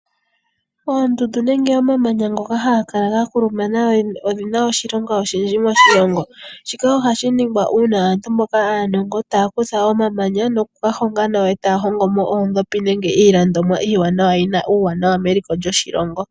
Oondundu nenge omamanya ngoka haga kala ga kulumana odhina oshilonga odhindji moshilongo shika ohashi ningwa uuna aantu mboka aanongo taya kutha omamanya nokuga honga nawa eta hongomo oodhopi nenge iilongomwa iiwanawa yi na uuwanawa meliko lyoshilongo